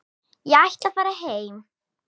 Ég ætla að fara heim.